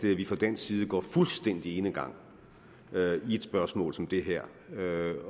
vi fra dansk side går fuldstændig enegang i et spørgsmål som det her